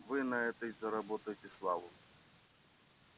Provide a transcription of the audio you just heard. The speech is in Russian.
вы на этой заработаете славу